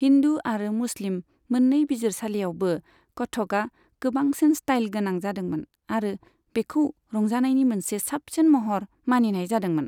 हिन्दू आरो मुस्लिम मोननै बिजिरसालिआवबो, कथकआ गोबांसिन स्टाइलगोनां जादोंमोन आरो बेखौ रंजानायनि मोनसे साबसिन महर मानिनाय जादोंमोन।